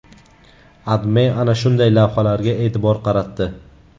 AdMe ana shunday lavhalarga e’tibor qaratdi.